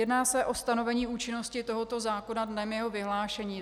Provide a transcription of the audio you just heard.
Jedná se o stanovení účinnosti tohoto zákona dnem jeho vyhlášení.